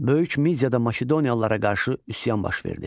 Böyük Midiyada Makedoniyalılara qarşı üsyan baş verdi.